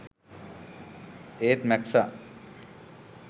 ඒත් මැක්සා